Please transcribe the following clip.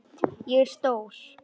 Ég er stór.